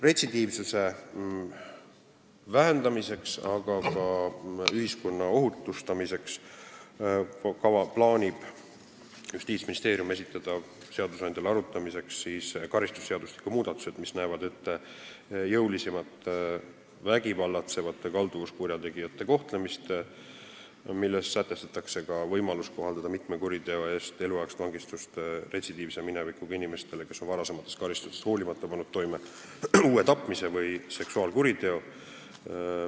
Retsidiivsuse vähendamiseks, aga ka ühiskonna ohutustamiseks plaanib Justiitsministeerium esitada seadusandjale arutamiseks karistusseadustiku muudatused, mis näevad ette vägivallatsevate kalduvuskurjategijate jõulisemat kohtlemist ja milles sätestatakse ka võimalus kohaldada mitme kuriteo eest eluaegset vangistust retsidiivse minevikuga inimesele, kes on varasematest karistustest hoolimata pannud toime uue tapmise või seksuaalkuriteo.